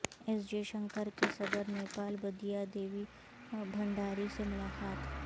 S Jaishankar کی صدر نیپال بدیا دیوی بھنڈاری سے ملاقات